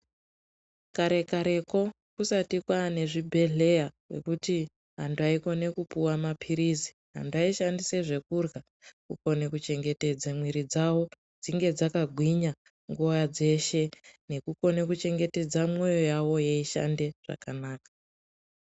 Kare kareko kusati kwaane zvibhedlera zvekuti vantu vayikone kupuwa mapirisi antu ayishandise zvekurya kukone kuchengetedza miiri dzavo dzinge dzakagwinya nguva dzeshe nekukone kuchengetedza moyo yavo yeyishande zvakanaka.